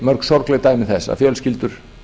mörg sorgleg dæmi þess að fjölskyldur